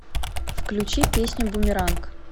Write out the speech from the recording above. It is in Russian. включи песню бумеранг